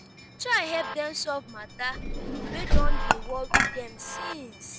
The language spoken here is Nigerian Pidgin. try help dem solve mata wey don dey wori dem since